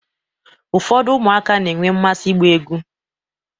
Ụfọdụ ụmụaka na-enwe mmasị ịgba egwu.